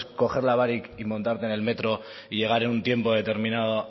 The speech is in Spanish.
coger la barik y montarte en el metro y llegar en un tiempo determinado